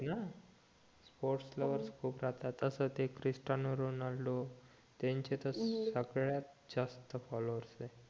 sports lover खूप राहतात तसं ते क्रिस्टियानो रोनाल्डो त्यांचे तर सर्वात जास्त फॉलोवर्स आहे